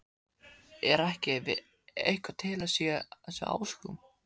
Er ekki eitthvað til í þessum ásökunum?